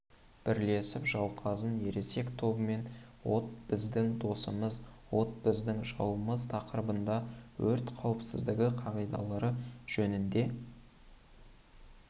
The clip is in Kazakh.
бірлесіп жауқазын ересек тобымен от біздің досымыз от біздің жауымыз тақырыбында өрт қауіпсіздігі қағидалары жөнінде